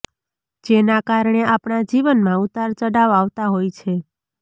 જેના કારણે આપણા જીવનમાં ઉતાર ચડાવ આવતા હોય છે